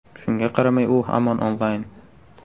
Shunga qaramay, u hamon onlayn!